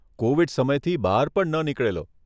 Covid સમયથી બહાર પણ ન નીકળેલો.